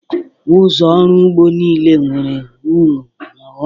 Ụzọ ọrụ ugbo niile nwere uru na ọghọm.